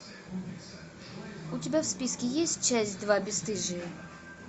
у тебя в списке есть часть два бесстыжие